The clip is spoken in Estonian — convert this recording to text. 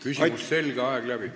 Küsimus selge, aeg läbi.